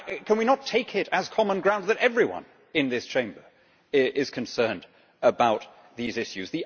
Can we not take it as common ground that everyone in this Chamber is concerned about these issues?